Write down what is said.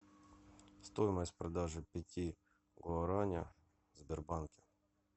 стоимость продажи пяти гуараня в сбербанке